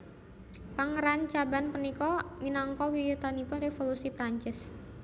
Pangrancaban punika minangka wiwitanipun Révolusi Perancis